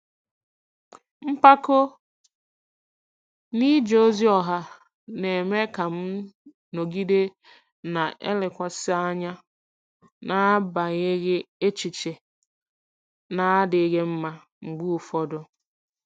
Mpako n'ije ozi ọha na-eme ka m nọgide na-elekwasị anya n'agbanyeghị echiche na-adịghị mma mgbe ụfọdụ.